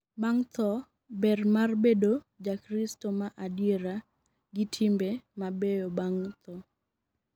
bang' tho, ber mar bedo jakristo ma adiera gi timbe ma beyo bang' tho